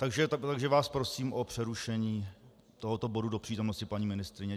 Takže vás prosím o přerušení tohoto bodu do přítomnosti paní ministryně.